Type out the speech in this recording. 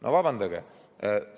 No vabandage!